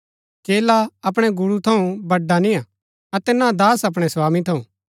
चेला अपणै गुरू थऊँ बड़ा निय्आ अतै ना दास अपणै स्वामी थऊँ